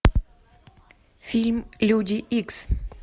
фильм люди икс